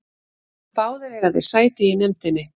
Báðir eiga þeir sæti í nefndinni